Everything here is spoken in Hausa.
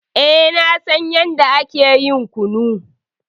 Eh, na san yanda ake ƴin kunu.